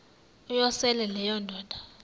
uyosele leyo indoda